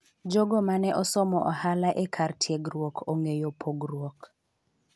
jogo mane osomo ohala e kar tiegruok ong'eyo pogruok